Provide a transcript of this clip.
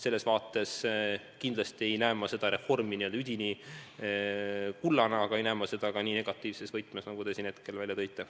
Seega ma kindlasti ei näe seda reformi n-ö üdini kullana, aga ma ei näe seda ka nii negatiivses võtmes, nagu te välja tõite.